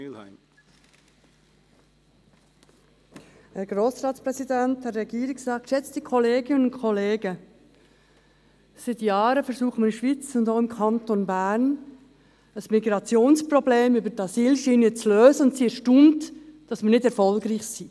Seit Jahren versuchen wir in der Schweiz und auch im Kanton Bern, das Migrationsproblem über die Asylschiene zu lösen und sind erstaunt, dass wir nicht erfolgreich sind.